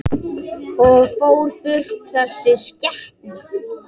Og fór burt, þessi skepna.